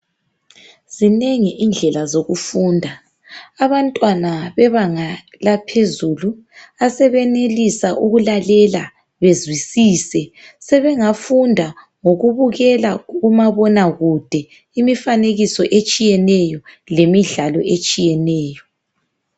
Zinengi indlela zokufunda. Abantwana bebanga laphezulu asebenelisa ukulalela bezwisise sebengafunda ngokubukela umabonakude imifanekiso etshiyeneyo lemidlalo etshiyeneyo.